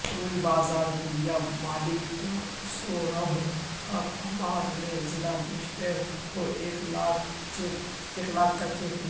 روئی بازار میلہ مالک سوربھ کمار نے ضلع مجسٹریٹ کو ایک لاکھ کا چیک دیا